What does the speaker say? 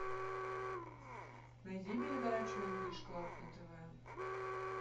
найди передачу инглиш клаб на тв